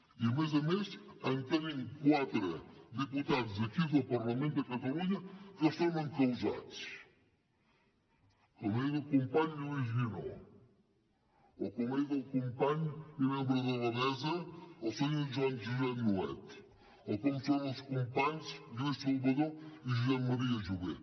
i a més a més en tenim quatre de diputats d’aquí del parlament de catalunya que són encausats com és el company lluís guinó o com és el company i membre de la mesa el senyor joan josep nuet o com són els companys lluís salvadó i josep maria jové